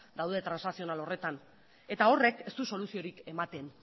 daude transakzional horretan eta horrek ez du soluziorik ematen